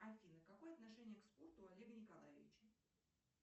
афина какое отношение к спорту у олега николаевича